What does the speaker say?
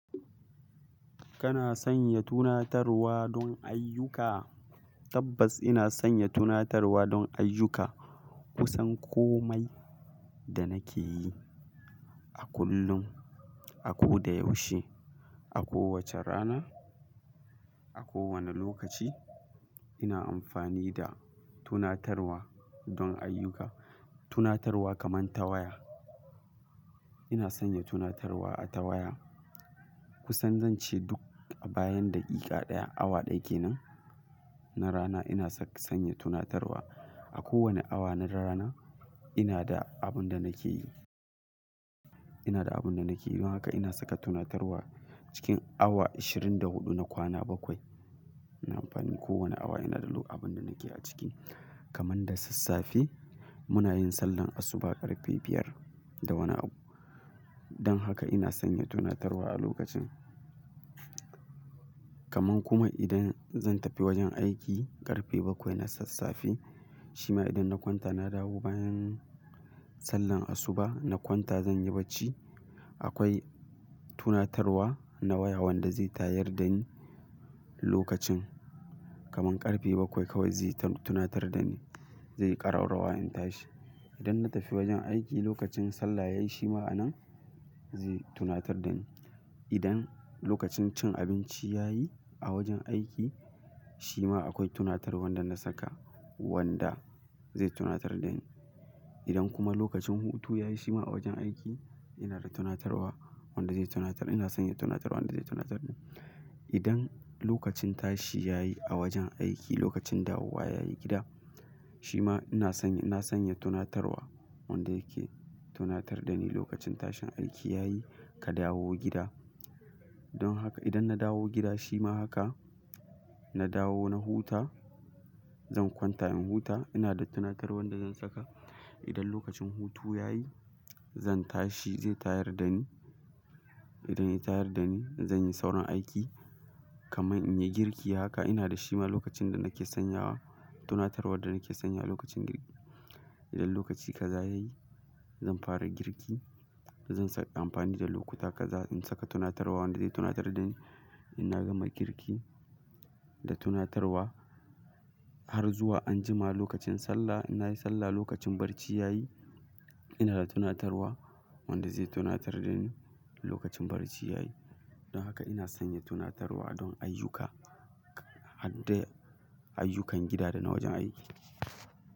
Kana sanya tunatarwa don ayyuka? Tabbas ina sanya tunatarwa don ayyuka. Kusan komai da nake yi a kullum, a ko da yaushe, a kowace rana, a kowane lokaci ina amfani da tunatarwa don ayyuka. Tunatarwa kamar ta waya. Ina sanya tunatarwa a waya. Kusan zan ce duk bayan daƙiƙa ɗaya, awa ɗaya ke nan na rana ina saka sanya tunatarwa. A kowane awa na rana ina da abin da nake yi. Ina da abin da nake yi. Don haka ina saka tunatarwa cikin awa ashirin da huɗu na kwana bakwai. Ina amfani kowane awa ina da abin da nake a ciki. Kaman da sassafe muna yin sallar asuba ƙarfe biyar da wani abu. Don haka ina sanya tunatarwa a lokacin. Kaman kuma idan zan tafi wajen aiki ƙarfe bakwai na sassafe shima idan na kwanta na dawo bayan sallar asuba na kwanta zan yi barci akwai tunatarwa na waya wanda zai tayar da ni lokacin. Kaman ƙarfe bakwai kawai zai tunatar da ni. Zai yi ƙararrawa in tashi. Idan na tafi wajen aiki lokacin sallah yayi shima a nan zai tunatar da ni. Idan lokacin cin abinci ya yi a wajen aiki shima akwai tunatarwar wanda na saka wanda zai tunatar da ni. Idan kuma lokacin hutu ya yi shima a wajen aiki ina da tunatarwa wanda zai tunatar. Ina sanya tunatarwar wanda zai tunatar da ni. Idan lokacin tashi ya yi a wajen aiki lokacin dawowa ya yi gida shima ina sanya, na sanya tunatarwa wanda yake tunatar da ni lokacin tashin aiki ya yi ka dawo gida. Don haka idan na dawo gida shima haka na dawo na huta zan kwanta in huta ina da tunatarwar wanda zan saka. Idan lokacin hutu ya yi zan tashi zai tayar da ni. Idan ya tayar da ni zan yi sauran aiki. Kaman in yi girki haka ina da shima lokacin da nake sanyawa tunatarwar da nake sanya lokacin girki. Idan lokaci kaza ya yi zan fara girki. Zan saka amfani da lokuta kaza in saka tunatarwa wanda zai tunatar da ni ina gama girki da tunatarwa har zuwa anjima lokacin sallah ina yi sallah lokacin barci ya yi ina da tunatarwa wanda zai tunatar da ni lokacin barci ya yi. Don haka ina sanya tunatarwa don ayyuka. Haddai ayyukan gida da na wajen aiki.